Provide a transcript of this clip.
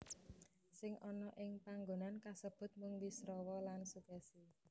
Sing ana ing panggonan kasebut mung Wisrawa lan Sukèsi